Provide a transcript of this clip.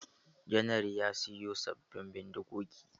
Janar ya sayo sabin bindigogi.